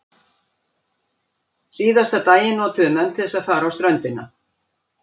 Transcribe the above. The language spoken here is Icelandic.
Síðasta daginn notuðu menn til þess að fara á ströndina.